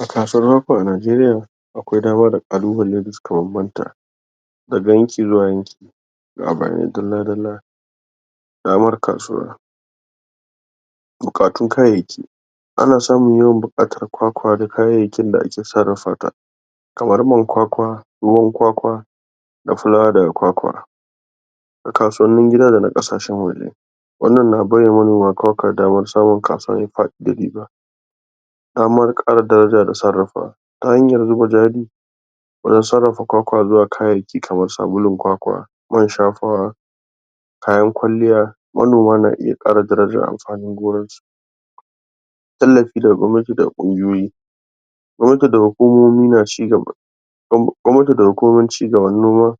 a kasuwar mako a nageriya akwai dama da kalubalai da suka banbanta daga yanki zuwa yanki ga bayanai dalla dalla damar kasuwa bukatu kayayyaki ana samun yawan bukatar kwakwa da kayayyakin da ake sarrafa ta kamar man kwakwa ruwan kwakwa da fulawa daga kwakwa kasuwannin gida dana kasashen waje wannan na baiwa manoma kwakwa damar samun kasuwa mai fadi da riba damar kara daraja da sarrafa ta hanyar zuba jali wajen sarrafa kw akwa zuwa kayayyaki kamar sabulun kwakwa man shafawa kayan kwalliya manoma na iya kara darajjar amfanin su gurin tallafi daga gwamnati daga kungiyoyi gwamnati da hukumomi na ci gaba gwa, nati da hukumomin cigaban noma